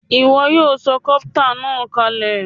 Ìwo yio so copter nàá kalè